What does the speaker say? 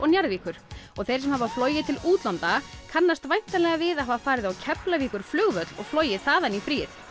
Njarðvíkur og þeir sem hafa flogið til útlanda kannast væntanlega við að hafa farið á Keflvíkurflugvöll og flogið þaðan í fríið